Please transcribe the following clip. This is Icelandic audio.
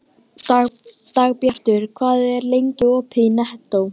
Dagbjartur, hvað er lengi opið í Nettó?